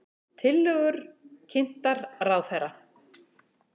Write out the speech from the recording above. Tillögur kynntar ráðherra